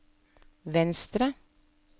venstre